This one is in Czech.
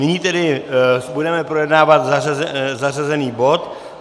Nyní tedy budeme projednávat zařazený bod